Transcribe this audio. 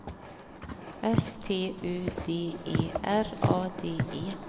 S T U D E R A D E